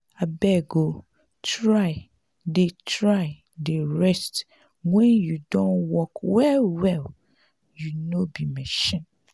abeg o try dey try dey rest wen you don work well-well you no be machine.